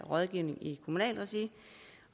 rådgivning i kommunalt regi